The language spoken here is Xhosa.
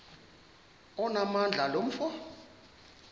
onamandla lo mfo